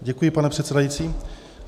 Děkuji, pane předsedající.